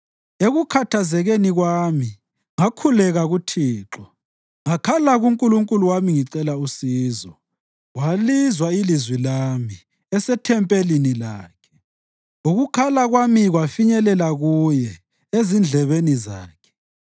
Ekukhathazekeni kwami ngakhuleka kuThixo; ngakhala kuNkulunkulu wami ngicela usizo. Walizwa ilizwi lami esethempelini lakhe; ukukhala kwami kwafinyelela kuye, ezindlebeni zakhe.